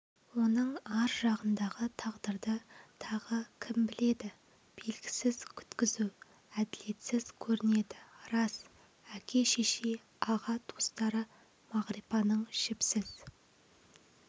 оның ар жағындағы тағдырды тағы кім біледі белгісіз күткізу әділетсіз көрінеді рас әке-шеше аға-туыстары мағрипаның жіпсіз